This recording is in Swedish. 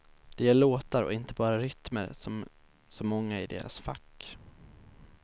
De gör låtar och inte bara rytmer som så många i deras fack.